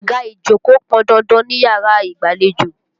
Àga ìjókòó pọn dandan níyàrá ìgbàlejò.